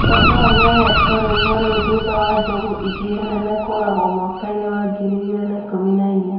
Satao nĩahetwo rĩtwa rĩu thutha wa njogu ĩngĩ nene kũragwo mwaka wa ngiri igĩrĩ ikumi na inya